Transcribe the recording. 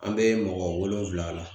An bɛ mɔgɔ wolonfila la.